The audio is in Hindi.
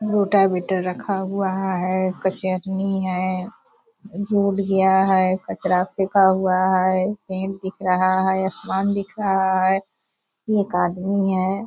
रखा हुआ है क्च्रनी है रोड गया है कचरा फेंका हुआ है पेड़ दिख रहा है आसमान दिख रहा है एक आदमी है।